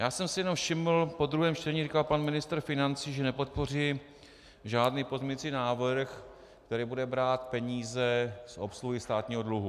Já jsem si jenom všiml, po druhém čtení říkal pan ministr financí, že nepodpoří žádný pozměňovací návrh, který bude brát peníze z obsluhy státního dluhu.